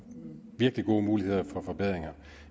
virkelig gode muligheder for forbedringer